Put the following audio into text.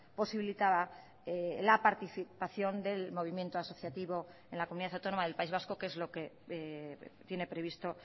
posibilitaba la participación del movimiento asociativo en la comunidad autónoma del país vasco que es lo que tiene previsto